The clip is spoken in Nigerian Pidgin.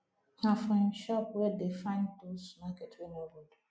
na for him shop wey dey find those market wey no good